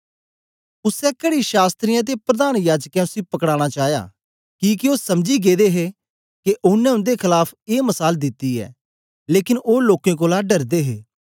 उसै कड़ी शास्त्रियें ते प्रधान याजकें उसी पकड़ाना चाया किके ओ समझी गेदे हे के ओनें उन्दे खलाफ ए मसाल दिती ऐ लेकन ओ लोकें कोलां डरदे हे